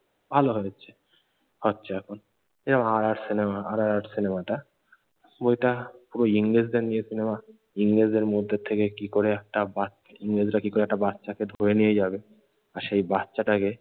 ভালো হয়েছে, হচ্ছে এখন যেমন আর আর সিনেমা আর আর আর সিনেমাটা বইটা ওই ইংরেজদের নিয়ে সিনেমা। ইংরেজদের মধ্যে থেকে কি করে একটা বাচ্ ইংরেজরা কি করে একটা বাচ্চাকে ধরে নিয়ে যাবে আর সেই বাচ্চাটাকে